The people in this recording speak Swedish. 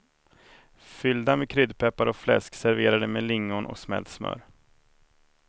Fyllda med kryddpeppar och fläsk, serverade med lingon och smält smör.